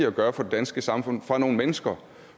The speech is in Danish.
at gøre for det danske samfund fra nogle mennesker